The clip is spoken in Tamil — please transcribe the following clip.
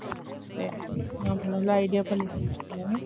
உம் சேரி நல்ல idea பண்ணுக